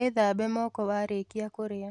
Wĩthambe moko warĩkia kũrĩa